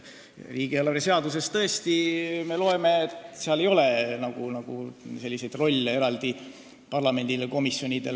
Riigieelarve seadusest me tõesti loeme, et ei ole selliseid eraldi rolle parlamendil ega komisjonidel.